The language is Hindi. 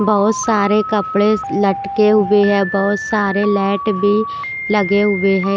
बहुत सारे कपड़े स लटके हुए हैं बहुत सारे लाइट भी लगे हुए है।